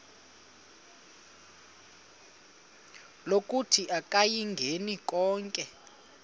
lokuthi akayingeni konke